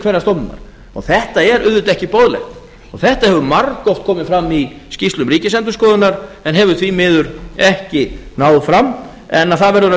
hverrar stofnunar þetta er auðvitað ekki boðlegt og þetta hefur margoft komið fram í skýrslum ríkisendurskoðunar en hefur því miður ekki náð fram en það verður að